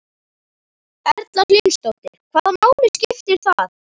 Erla Hlynsdóttir: Hvaða máli skiptir það?